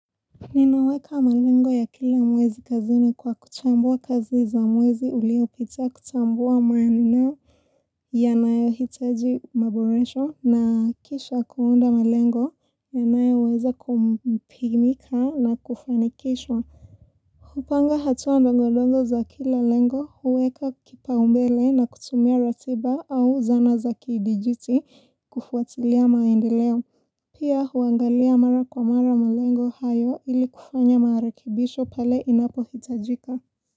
Ninaweka malengo ya kila mwezi kazini kwa kuchambua kazi za mwezi ulio pita kuchambua maaninao yanayo hitaji maboresho na kisha kuunda malengo yanayo uweza kumpimika na kufanikishwa hupanga hatuwa ndongodongo za kila lengo huweka kipa umbele na kutumia ratiba au zana za kidijuti kufuatilia maindileo Pia huangalia mara kwa mara malengo hayo ili kufanya mara kibisho pele inapo hitajika.